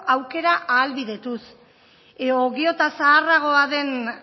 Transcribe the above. aukera ahalbidetuz edo gero eta zaharragoa dan